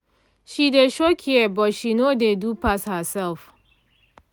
she dey show care but she no dey do pass herself